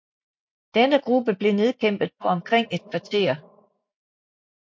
Denne gruppe blev nedkæmpet på omkring et kvarter